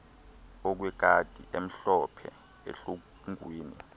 okwekati emhlophe ehlungwini